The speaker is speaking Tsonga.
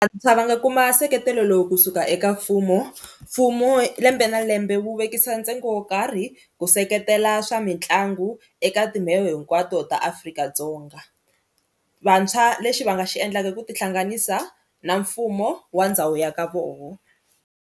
Va nga kuma nseketelo lowu kusuka eka mfumo mfumo lembe na lembe wu vekisa ntsengo wo karhi ku seketela swa mitlangu eka timbewu hinkwato ta Afrika-Dzonga, vantshwa lexi va nga xi endlaka ku tihlanganisa na mfumo wa ndhawu ya ka vona.